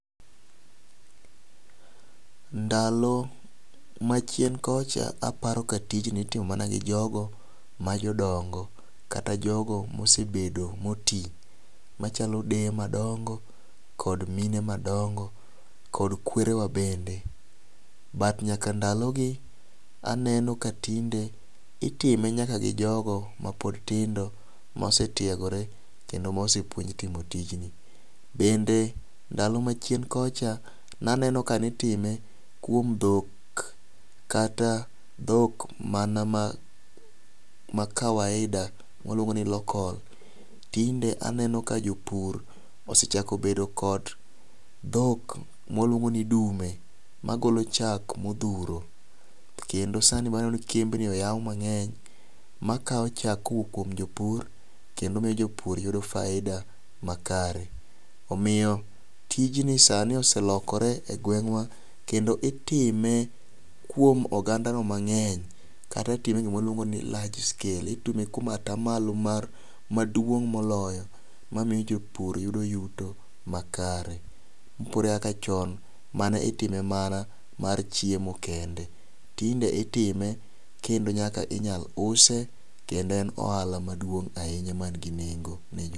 Ndalo machien kocha aparo kaka tijni itimo mana go jogo ma jodongo kata jogo mosebedo motii machalo deye madongo kod mine madongo kod kwerewa bende, but ndalo gi aneno ka tinde itime nyaka gi jogo mapod tindo mose tiegore kendo mosepuonj timo tijni bende ndalo machien kocha naneno kitime kuom dhok kata dhok mana ma ma kawaida waluongo ni local tinde aneno ka jopur osebdeo kod dhok mwaluongo ni dume magolo chak modhuro kendo waneno kembi oyaw mang'eny makawo chak kowuok kuomn jopur kendo miyo jpur yudo faida makare. Omiyo tijni sani oselokore e gweng'wa kendo itime kuom oganda no mang'eny kata itime eyoo mwaluongo ni large scale itime kuom atamalo mar maduong' moloyo mamiyo jopur yudo yuto makare. Opogore gi kaka chon manitime mana mar chiemo kende tinde itime nyaka kendo nyaka inyal use kendo en ohala maduong' ahinya man gi nengo ne jopur.